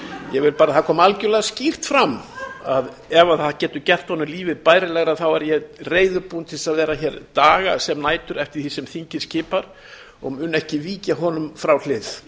ég vil bara að það komi algjörlega skýrt fram að ef það getur gert honum lífið bærilegra er ég reiðubúinn að vera hér daga sem nætur eftir því sem þingið skipar og mun ekki víkja honum frá hlið